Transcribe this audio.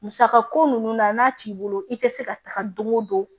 Musaka ko nunnu na n'a t'i bolo i te se ka taga don o don